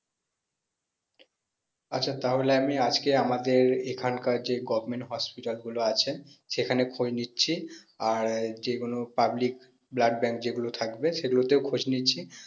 আচ্ছা তাহলে আমি আজকে আমাদের এখানকার যে government hospital গুলো আছেন সেখানে খোঁজ নিচ্ছি আর যেগুলো public blood bank যেগুলো থাকবে সেগুলোতেও খোঁজ নিচ্ছি